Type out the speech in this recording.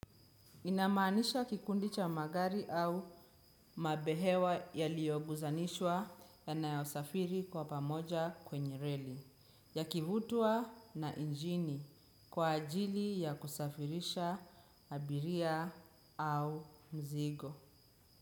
Inamaanisha kikundi cha magari au mabehewa yaliyo guzanishwa yanayo safiri kwa pamoja kwenye rally, yakivutwa na injini kwa ajili ya kusafirisha abiria au mzigo.